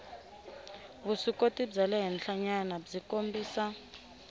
vuswikoti bya le henhlanyanabyi kombisa